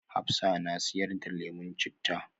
Hafsah na siyar da lemun citta